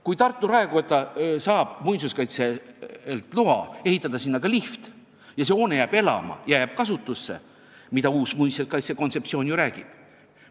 Kui Tartu raekoda saab muinsuskaitselt loa ehitada sinna lift, siis see hoone jääb elama ja jääb kasutusse, mida ka uus muinsuskaitse kontseptsioon ju eesmärgiks peab.